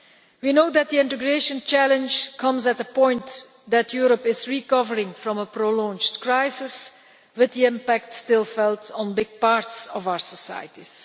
We know that the integration challenge comes at a point when Europe is recovering from a prolonged crisis with the impact still being felt on large parts of our societies.